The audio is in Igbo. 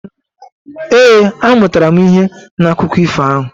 Ee, amụtara m ihe n'akụkọ ifo ahụ.